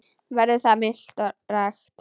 Veðrið var milt og rakt.